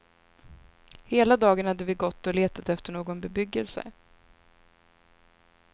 Hela dagen hade vi gått och letat efter någon bebyggelse.